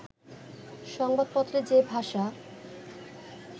সংবাদপত্রে যে ভাষা